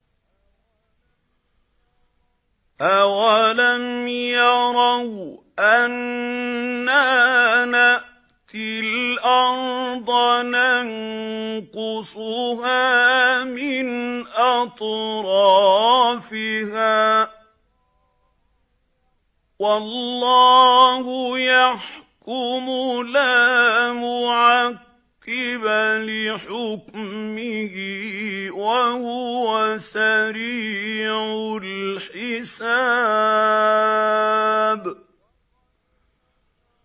أَوَلَمْ يَرَوْا أَنَّا نَأْتِي الْأَرْضَ نَنقُصُهَا مِنْ أَطْرَافِهَا ۚ وَاللَّهُ يَحْكُمُ لَا مُعَقِّبَ لِحُكْمِهِ ۚ وَهُوَ سَرِيعُ الْحِسَابِ